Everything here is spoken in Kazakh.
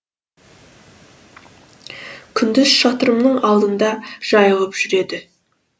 күндіз шатырымның алдында жайылып жүреді